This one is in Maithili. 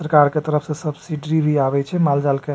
सरकार के तरफ से सब्सिडी भी आवे छै माल-जाल के --